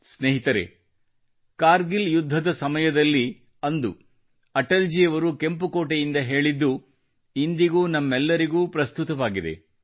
ಸ್ನೇಹಿತರೆ ಕಾರ್ಗಿಲ್ ಯುದ್ಧದ ಸಮಯದಲ್ಲಿ ಅಂದು ಅಟಲ್ ಜಿಯವರು ಕೆಂಪು ಕೋಟೆಯಿಂದ ಹೇಳಿದ್ದು ಇಂದಿಗೂ ನಮ್ಮೆಲ್ಲರಿಗೂ ಪ್ರಸ್ತುತವಾಗಿದೆ